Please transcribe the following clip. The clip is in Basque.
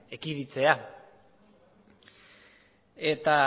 ekiditea eta